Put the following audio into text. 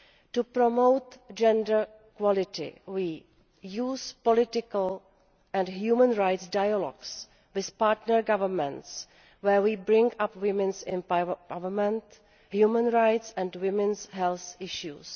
To promote gender equality we use political and human rights dialogues with partner governments where we bring up women's empowerment, human rights and women's health issues.